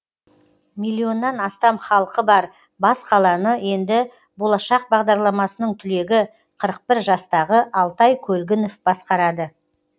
миллионнан астам халқы бар бас қаланы енді болашақ бағдарламасының түлегі қырық бір жастағы алтай көлгінов басқарады